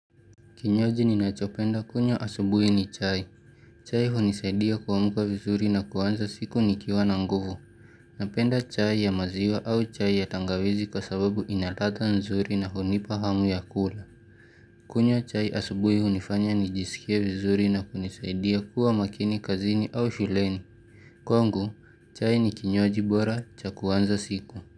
Kinywaji ninachopenda kunywa asubuhi ni chai. Chai hunisaidia kuamka vizuri na kuanza siku nikiwa na nguvu. Napenda chai ya maziwa au chai ya tangawizi kwa sababu ina ladha nzuri na hunipa hamu ya kula. Kunywa chai asubuhi hunifanya nijisikie vizuri na kunisaidia kuwa makini kazini au shuleni. Kwangu, chai ni kinywaji bora cha kuanza siku.